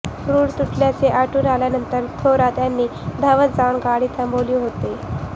रूळ तुटल्याचे आढळून आल्यानंतर थोरात यांनी धावत जाऊन गाडी थांबविली होती